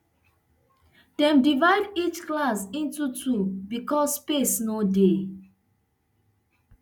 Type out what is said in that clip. dem divide each class into two becos space no dey